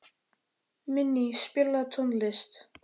Minney, spilaðu tónlist.